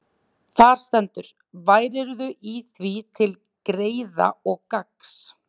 Þar stendur: Værirðu í því til greiða og gagns,